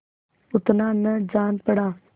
उतना न जान पड़ा